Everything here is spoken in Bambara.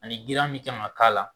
Ani girinya min kan ka k'a la